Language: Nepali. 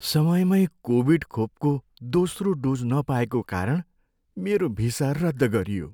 समयमै कोभिड खोपको दोस्रो डोज नपाएको कारण मेरो भिसा रद्द गरियो।